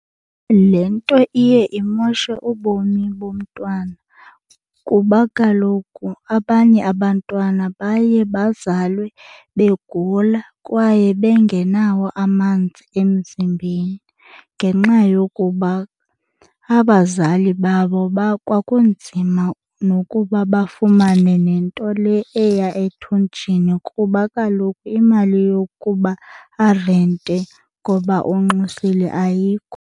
Le nto iye imoshe ubomi bomntwana kuba kaloku abanye abantwana baye bazalwe begula kwaye bengenawo amanzi emzimbeni ngenxa yokuba abazali babo bakwakunzima nokuba bafumane nento le eya ethunjini kuba kaloku imali yokuba arente ngoba unxusile ayikho.